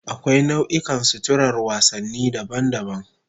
Akwai nau'ikan suturar wasanni daban-daban